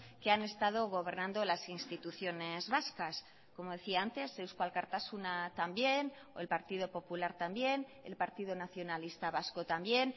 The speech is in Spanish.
que han estado gobernando las instituciones vascas como decía antes eusko alkartasuna también o el partido popular también el partido nacionalista vasco también